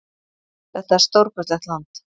Þetta er stórkostlegt land.